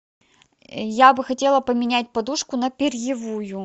я бы хотела поменять подушку на перьевую